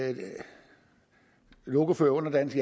lokoførere under dansk